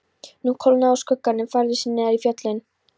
Nú kólnaði og skuggarnir færðu sig neðar í fjöllin.